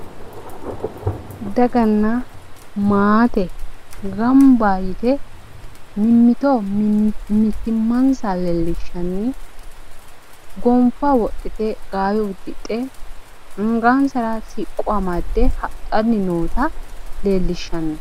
Daganna maate gamba yte mittimma leelishanni angasa siqqo amadde hadhanni nootta leelishano